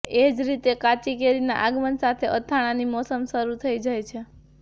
એ જ રીતે કાચી કેરીના આગમન સાથે અથાણાંની મોસમ શરૂ થઈ જાય છે